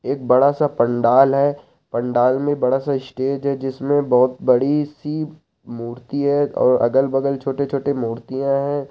एक बड़ा सा पंडाल है पंडाल में बड़ा सा स्टेज हैजिसमे बहुत बड़ी सी मूर्ती है अगल -बगल छोटी-छोटी मुर्तिया है।